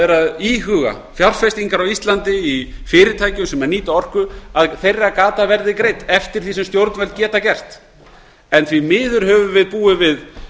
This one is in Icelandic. eru að íhuga fjárfestingar á íslandi í fyrirtækjum sem nýta orku að gata þeirra verði greidd eftir því sem stjórnvöld geta gert en því miður höfum við búið við